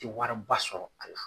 Te wari ba sɔrɔ a la.